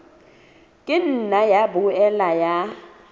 ka nna ya boela ya